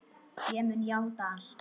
Ég mun játa allt.